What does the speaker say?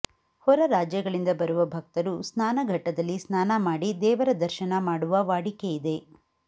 ಹೊರ ರಾಜ್ಯಗಳಿಂದ ಬರುವ ಭಕ್ತರು ಸ್ನಾನಘಟ್ಟದಲ್ಲಿ ಸ್ನಾನ ಮಾಡಿ ದೇವರ ದರ್ಶನ ಮಾಡುವ ವಾಡಿಕೆಯಿದೆ